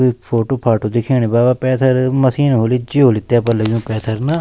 कुई फोटु फाटो दिखेणि बाबा पैथर मशीन होली जी होली तेपर लग्युं पैथर ना।